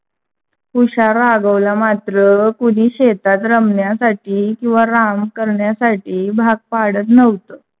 हुशार राघव ला मात्र कुणी शेतात रमण्यासाठी किव्हा आराम करण्यासाठी भाग पडत नव्हत.